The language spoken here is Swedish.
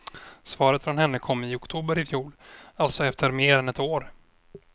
Svaret från henne kom i oktober ifjol, alltså efter mer än ett år.